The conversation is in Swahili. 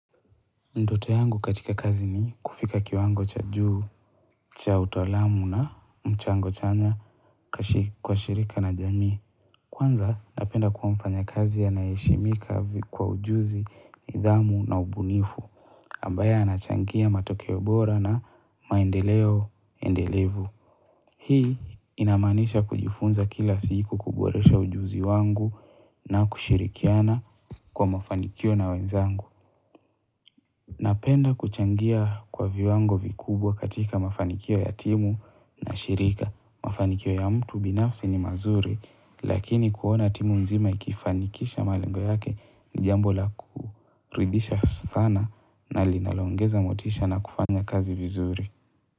Ndoto yangu katika kazi ni kufika kiwango cha juu, cha utaalamu na mchango chanya kwa shirika na jamii. Kwanza napenda kuwa mfanya kazi anayeheshimika kwa ujuzi, nidhamu na ubunifu. Ambaye anachangia matokeo bora na maendeleo, endelevu. Hii inamaanisha kujifunza kila siku kuboresha ujuzi wangu na kushirikiana kwa mafanikio na wenzangu. Napenda kuchangia kwa viwango vikubwa katika mafanikio ya timu na shirika. Mafanikio ya mtu binafsi ni mazuri, lakini kuona timu mzima ikifanikisha malengo yake ni jambola kuridisha sana na linaloongeza motisha na kufanya kazi vizuri.